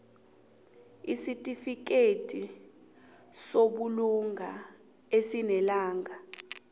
isitifikedi sobulunga esinelanga